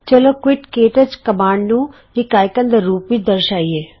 ਚਲੋਂ ਕੁਇਟ ਕੇ touch command ਨੂੰ ਇਕ ਆਈਕੋਨ ਦੇ ਰੂਪ ਵਿਚ ਦਰਸਾਇਏ